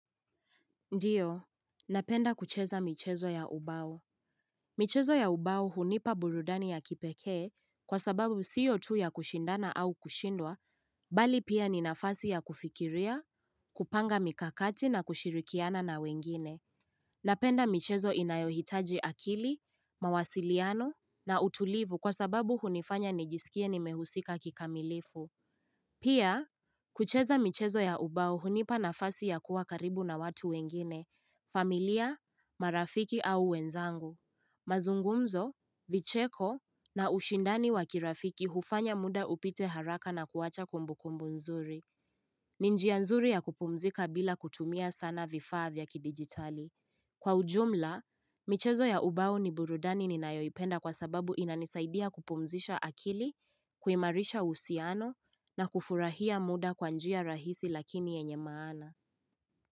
Ndiyo, napenda kucheza michezo ya ubao. Michezo ya ubao hunipa burudani ya kipekee kwa sababu siyo tu ya kushindana au kushindwa, bali pia ni nafasi ya kufikiria, kupanga mikakati na kushirikiana na wengine. Napenda michezo inayohitaji akili, mawasiliano na utulivu kwa sababu hunifanya nijisikie ni mehusika kikamilifu. Pia, kucheza michezo ya ubao hunipa na fasi ya kuwa karibu na watu wengine, familia, marafiki au wenzangu. Mazungumzo, vicheko na ushindani wakirafiki hufanya muda upite haraka na kuacha kumbukumbu nzuri. Ninjia nzuri ya kupumzika bila kutumia sana vifaa vya kidigitali. Kwa ujumla, michezo ya ubao ni burudani ninayoipenda kwa sababu inanisaidia kupumzisha akili, kuimarisha uhusiano na kufurahia muda kwanjia rahisi lakini yenye maana.